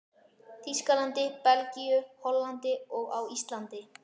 Þýskalandi, Belgíu, Hollandi og á Íslandi.